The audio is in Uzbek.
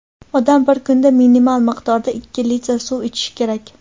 Odam bir kunda minimal miqdorda ikki litr suv ichishi kerak.